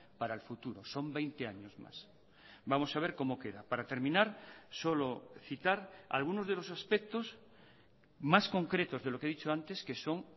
para el futuro son veinte años más vamos a ver cómo queda para terminar solo citar algunos de los aspectos más concretos de lo que he dicho antes que son